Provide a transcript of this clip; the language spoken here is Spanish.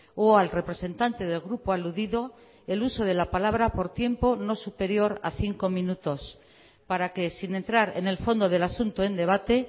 o al representante del grupo aludido el uso de la palabra por tiempo no superior a cinco minutos para que sin entrar en el fondo del asunto en debate